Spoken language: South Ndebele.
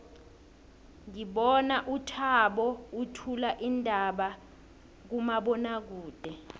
ngibona uthabo uthula iindaba kumabonwakude